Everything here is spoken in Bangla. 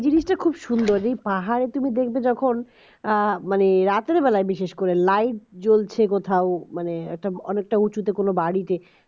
জিনিসটা খুব সুন্দর সেই পাহাড়ে তুমি দেখবে যখন মানে রাতের বেলায় বিশেষ করে light জ্বলছে কোথাও মানে একটা অনেকটা উঁচুতে কোন বাড়িতে